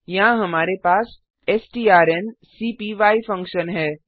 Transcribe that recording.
यहाँ हमारे पास स्ट्रांकपाई फंक्शन है